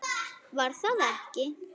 Var það ekki?